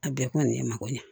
A bɛɛ kɔni ye mago ɲɛ